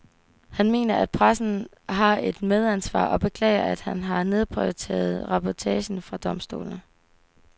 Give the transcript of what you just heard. Han mener, at pressen har et medansvar og beklager, at den har nedprioriteret reportagen fra domstolene.